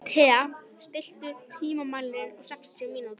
Thea, stilltu tímamælinn á sextíu mínútur.